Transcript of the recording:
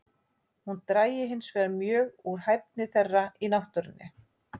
Hún drægi hinsvegar mjög úr hæfni þeirra í náttúrunni.